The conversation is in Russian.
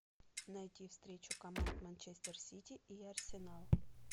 найти встречу команд манчестер сити и арсенал